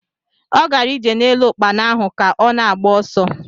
Ọ gara ije n'elu ukpana ahu ka ọ na-agba ọsọ